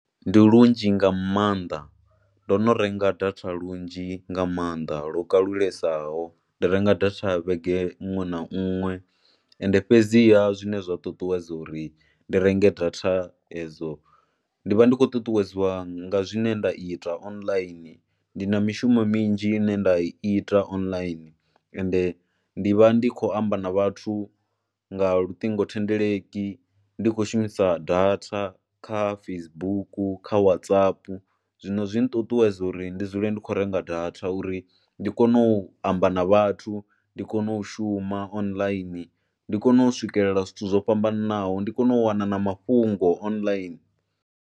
Ndi lunzhi nga maanḓa, ndo no renga data lunzhi nga maanḓa lwo kalulesaho. Ndi renga data vhege iṅwe na iṅwe ende fhedziha zwine zwa ṱuṱuwedza uri ndi renge data edzo ndi vha ndi khou ṱuṱuwedzwa nga zwine nda ita online, ndi na mishumo minzhi ine nda i ita online ende ndi vha ndi khou amba na vhathu nga luṱingothendeleki ndi khou shumisa data kha Facebook, kha Whatsapp. Zwino zwi nṱuṱuwedza uri ndi dzule ndi khou renga data uri ndi kone u amba na vhathu, ndi kone u shuma online. Ndi kone u swikelela zwithu zwo fhambananaho, ndi kone u wana na mafhungo online.